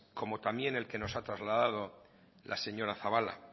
como también el que nos ha trasladado la señora zabala